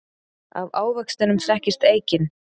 Af ávextinum þekkist eikin.